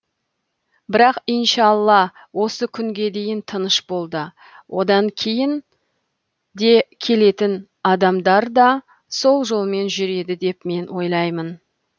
бірақ иншалла осы күнге дейін тыныш болды одан кейін де келетін адамдар да сол жолмен жүреді деп мен ойлаймын